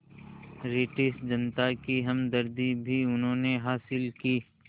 British जनता की हमदर्दी भी उन्होंने हासिल की